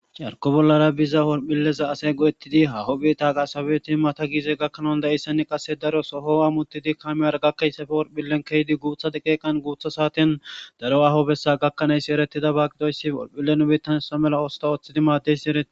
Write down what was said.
carko bollara biza worphilleza asey go'ettidi hahopphi taaqa sabeti mata giize gakkanawun da'eysseni qase daro soho a muttidi kamiyara gakkayssafe worphillen keydi guuthade qeeqan guutha saatin daro aho bessa gakkanayssi eretida ba gidoyssi olphillenu bettan sa mela oosta ooththidi maaddeysi ereti